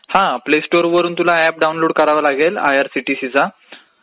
हा प्ले स्टोअरवरून app download कराव लागेल तुला आयआरसीटीसीचा.